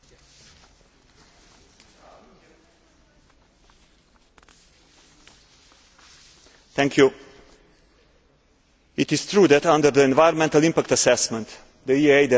It is true that under the Environmental Impact Assessment Directive, the responsibility for gathering the necessary environmental information and submitting it to the public authorities is given to the developer.